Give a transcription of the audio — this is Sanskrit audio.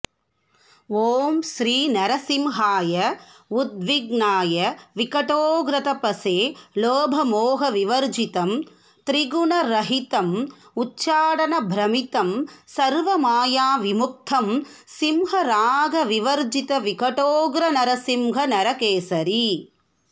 ॐ श्रीनृसिंहाय उद्विघ्नाय विकटोग्रतपसे लोभमोहविवर्जितं त्रिगुणरहितं उच्चाटनभ्रमितं सर्वमायाविमुक्तं सिंह रागविवर्जित विकटोग्र नृसिंह नरकेसरी